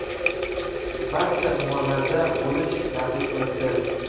barcha tumanlarda bo‘lish nasib qilibdi.